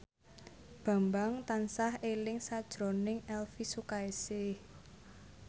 Bambang tansah eling sakjroning Elvy Sukaesih